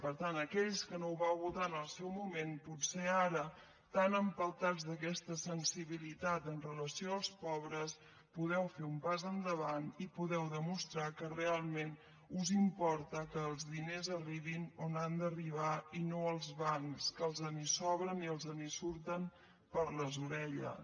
per tant aquells que no ho vau votar en el seu moment potser ara tan empeltats d’aquesta sensibilitat amb relació als pobres podeu fer un pas endavant i podeu demostrar que realment us importa que els diners arribin on han d’arribar i no als bancs que els en sobren i els en surten per les orelles